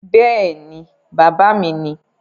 Bẹ́ẹ̀ ni, bàbá mi ni